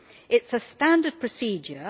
It is a standard procedure.